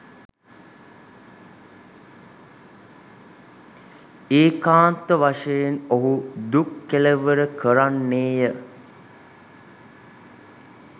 ඒකාන්ත වශයෙන් ඔහු දුක් කෙළවර කරන්නේ ය.